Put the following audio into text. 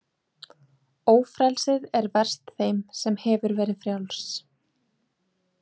Ófrelsið er verst þeim sem hefur verið frjáls.